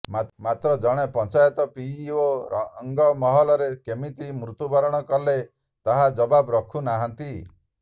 ମାତ୍ର ଜଣେ ପଞ୍ଚାୟତ ପିଇଓ ରଙ୍ଗମହଲରେ କେମିତି ମୃତୁ୍ୟବରଣ କଲେ ତାର ଜବାବ ରଖୁନାହାନ୍ତି